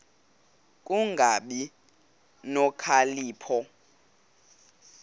ku kungabi nokhalipho